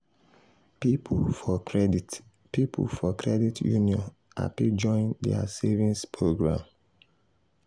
people for credit people for credit union happy join their savings program.